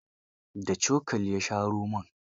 Da cokali ya sha romon.